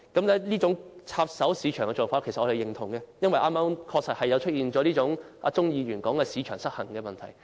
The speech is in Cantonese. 對於這種插手市場的做法，我們表示認同，因為確實出現了剛才鍾議員所說的市場失衡問題。